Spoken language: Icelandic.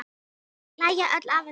Þau hlæja öll að þessu.